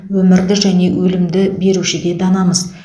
өмірді және өлімді беруші де данамыз